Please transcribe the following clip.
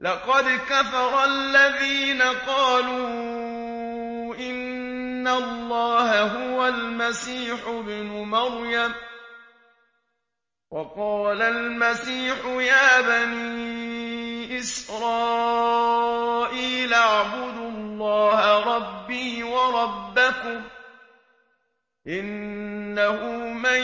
لَقَدْ كَفَرَ الَّذِينَ قَالُوا إِنَّ اللَّهَ هُوَ الْمَسِيحُ ابْنُ مَرْيَمَ ۖ وَقَالَ الْمَسِيحُ يَا بَنِي إِسْرَائِيلَ اعْبُدُوا اللَّهَ رَبِّي وَرَبَّكُمْ ۖ إِنَّهُ مَن